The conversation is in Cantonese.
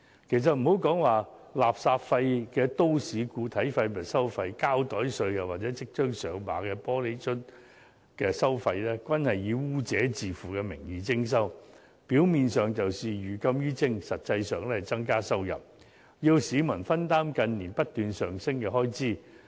事實上，不論是稱作垃圾費的都市固體廢物收費、膠袋稅，或即將"上馬"的玻璃樽收費，均是以"污染者自付"的名義徵收，表面上是寓禁於徵，實際上是增加收入，要市民分擔近年不斷上升的開支。